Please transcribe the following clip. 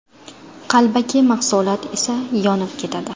Qalbaki mahsulot esa yonib ketadi.